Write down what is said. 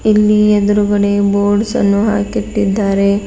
ಇಲ್ಲಿ ಎದ್ರುಗಡೆ ಬೋರ್ಡ್ಸ್ ಅನ್ನು ಹಾಕಿಟ್ಟಿದ್ದಾರೆ.